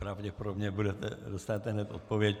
Pravděpodobně dostanete hned odpověď.